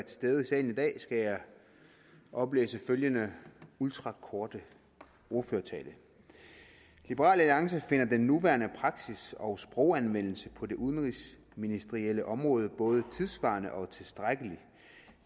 stede i salen i dag skal jeg oplæse følgende ultrakorte ordførertale liberal alliance finder den nuværende praksis og sproganvendelse på det udenrigsministerielle område både tidssvarende og tilstrækkelig